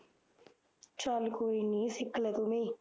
ਚੱਲ ਕੋਈ ਨੀ ਸਿੱਖਲੇ ਤੂੰ ਵੀ